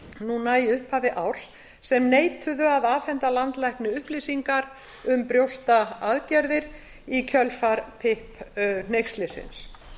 núna í upphafi árs sem neituðu að afhenda landlækni upplýsingar um brjóstaaðgerðir í kjölfar pip hneykslisins